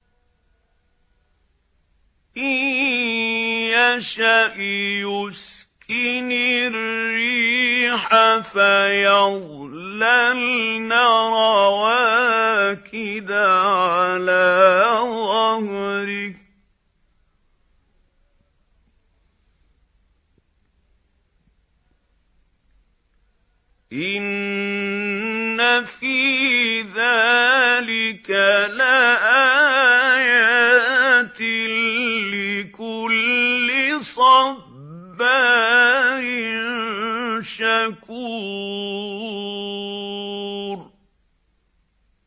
إِن يَشَأْ يُسْكِنِ الرِّيحَ فَيَظْلَلْنَ رَوَاكِدَ عَلَىٰ ظَهْرِهِ ۚ إِنَّ فِي ذَٰلِكَ لَآيَاتٍ لِّكُلِّ صَبَّارٍ شَكُورٍ